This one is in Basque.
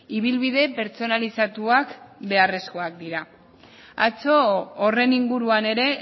ibilbide pertsonalizatuak beharrezkoak dira atzo horren inguruan ere